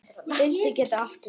Fylgja getur átt við